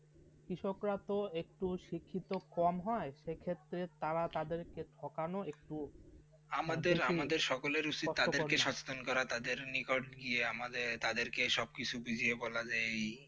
কৃষকরা তো একটু শিক্ষিত কম হবে, সেই ক্ষেত্রে তারা তাদেরকে ঠকানো একটু. আমার আমাদের সকলের উদ্দেশ্য তাদেরকে সচেতন করার তাদেরকে নিকট গিয়ে আমাদের তাদেরকে সবকিছু বুঝিয়ে বলা যেই